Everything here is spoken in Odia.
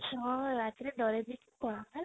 ରାତିରେ ଡରେଇ ଦେଇକି ପଳା ହେଲା